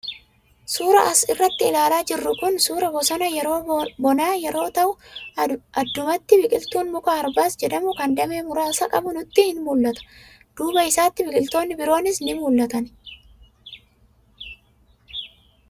Suuraan as irratti ilaalaa jirru kuni suuraa bosona yeroo bonaa yeroo ta'u, addumatti biqiltuun muka arbas jedhamu kan damee muraasa qabu nutti in mul'ata. Duuba isaa biqiltootni biroonis kan mul'atanidha.